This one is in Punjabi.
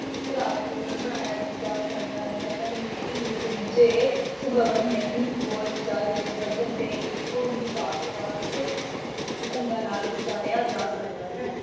ਪ੍ਰਭਾਵ ਪੂਰਨ ਬਣਾਇਆ ਜਾ ਸਕਦਾ ਹੈ, ਪਰ ਲਿਖਤੀ ਰੂਪ ਵਿੱਚ ਇਹ ਨਹੀਂ ਬੋਲਚਾਲ ਦੇ ਪੱਧਰ ਤੇ ਇੱਕੋ ਹੀ ਵਾਕ ਵਾਕ ਢੰਗਾਂ ਨਾਲ ਉਚਾਰਿਆ ਜਾ ਸਕਦਾ ਹੈ।